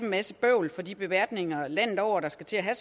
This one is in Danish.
masse bøvl for de beværtninger landet over der skal til at have